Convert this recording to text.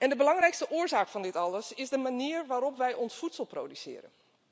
De belangrijkste oorzaak van dit alles is de manier waarop wij ons voedsel produceren.